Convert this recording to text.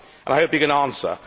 I hope he can answer.